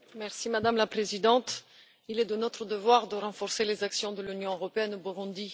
Madame la Présidente, il est de notre devoir de renforcer les actions de l'Union européenne au Burundi.